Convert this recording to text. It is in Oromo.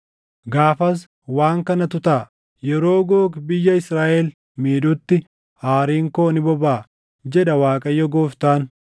Gaafas waan kanatu taʼa; yeroo Googi biyya Israaʼel miidhutti aariin koo ni bobaʼa, jedha Waaqayyo Gooftaan.